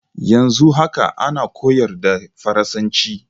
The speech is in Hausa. Yanzu haka ana koyar da faransanci